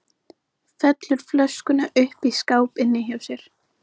Felur flöskuna uppi í skáp inni hjá sér.